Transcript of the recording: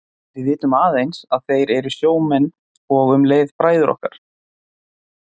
Við vitum aðeins að þeir eru sjómenn og um leið bræður okkar.